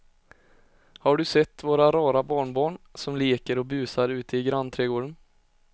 Har du sett våra rara barnbarn som leker och busar ute i grannträdgården!